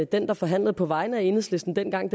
den der forhandlede på vegne af enhedslisten dengang